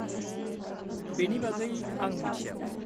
बेनि बागै आं मिथियामोन।